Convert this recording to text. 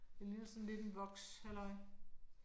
Det ligner sådan lidt en vokshalløj